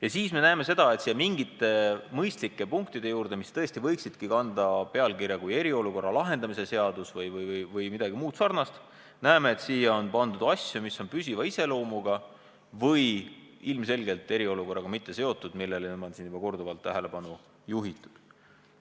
Aga siis me näeme, et nende mõistlike punktide kõrval, mis tõesti võiksid kanda pealkirja "Eriolukorra lahendamise seadus", on asju, mis on püsiva iseloomuga või mis ilmselgelt pole eriolukorraga seotud – neile on siin juba korduvalt tähelepanu juhitud.